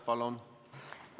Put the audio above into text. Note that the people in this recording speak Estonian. Palun!